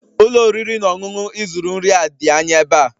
Ụlọ oriri na ọṅụṅụ ị zụrụ nri a dị anya ebe a?